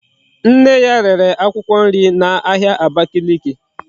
Nne ya rere akwukwo nri na ahia Abakiliki